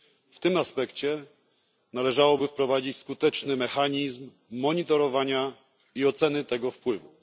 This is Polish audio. W tym aspekcie należałoby wprowadzić skuteczny mechanizm monitorowania i oceny tego wpływu.